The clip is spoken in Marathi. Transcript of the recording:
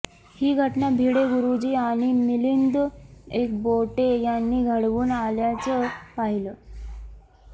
ही घटना भिडे गुरुजी आणि मिलिंद एकबोटे यांनी घडवून आणल्याचं पाहिलं